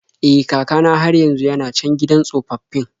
E, kaka na har yanzu yana can gidan tsofaffin.